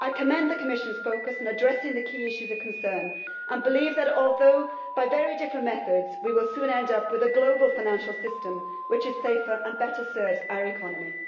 I commend the Commission's focus in addressing the key issues of concern and believe that although by very different methods, we will soon end up with a global financial system which is safer and better serves our economy.